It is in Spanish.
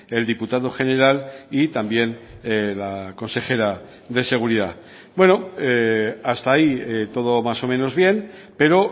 el diputado general y también la consejera de seguridad bueno hasta ahí todo más o menos bien pero